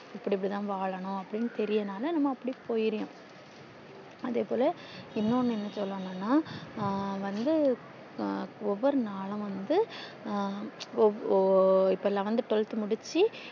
இப்டி இப்டி தான் வாழனும் அப்டி தேரியரதுனால நம்ம அப்டி போயிற அதே போல இன்னொன்னு என்ன சொல்லன்னுனா ஹம் வந்து ஒவ்வொரு நாளும் வந்து இப்போ நான் twelve த்து முடிச்சி